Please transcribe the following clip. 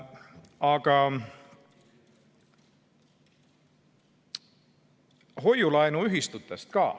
Aga nüüd hoiu-laenuühistutest.